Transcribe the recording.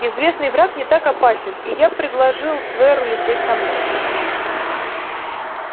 известный враг не так опасен и я предложил тверу лететь со мной